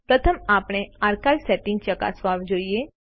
પ્રથમ આપણે archive setting ચકાસવા જોઈએ